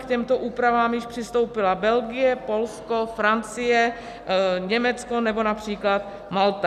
K těmto úpravám již přistoupila Belgie, Polsko, Francie, Německo nebo například Malta.